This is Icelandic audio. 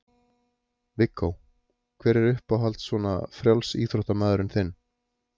Viggó: hver er uppáhalds svona frjálsíþróttamaðurinn þinn?